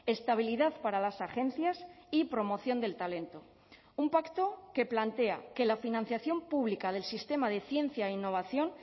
estabilidad para las agencias y promoción del talento un pacto que plantea que la financiación pública del sistema de ciencia e innovación